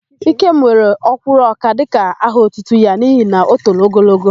Ikem were Ọ́kwụ́rụ́ọka dịka aha otutu ya n'ihi na o toro ogologo.